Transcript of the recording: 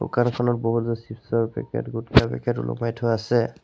দোকানখনত বহুতো চিপচ ৰ পেকেট গুটকা পেকেট ওলোমাই থোৱা আছে।